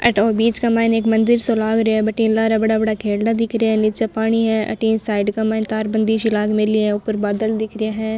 थीं बीच का माइने एक मंदिर सो लाग रे है भटीन लारे बड़ा बड़ा खेरडा दिखरा है नीचे पाणी है साइड के माय तार बंदी सी लाग मेली है ऊपर बादल दिख रे है।